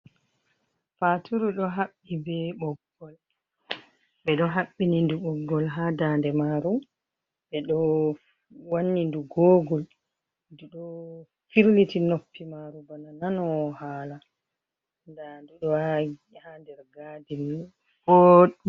Faaturu ɗo haɓɓi bee ɓoggol, ɓe ɗo haɓɓini ndu ɓoggol haa daande maaru, ɓe ɗo wanni ndu googul ndu ɗo firliti nofti maaru bana nanoowo haala, ndaa ndu ɗo haa nder gaadin.